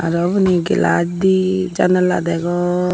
te ubani glach di jandala degong.